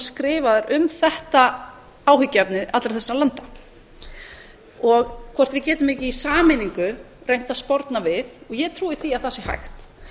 skrifaðar um þetta áhyggjuefni allra þessara landa og hvort við getum ekki í sameiningu reynt að sporna við og ég trúi því að það sé hægt